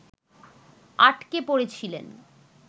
আটকে পড়েছিলেন